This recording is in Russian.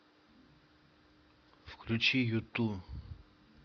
включи юту